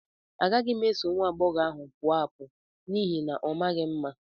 Agaghị m eso nwa agbọghọ ahụ pụọ apụ n'ihi na ọ maghị mma.